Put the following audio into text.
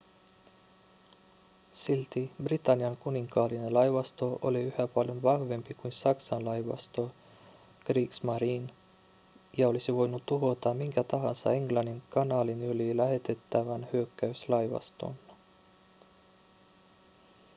silti britannian kuninkaallinen laivasto oli yhä paljon vahvempi kuin saksan laivasto kriegsmarine ja olisi voinut tuhota minkä tahansa englannin kanaalin yli lähetettävän hyökkäyslaivaston